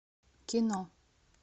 кино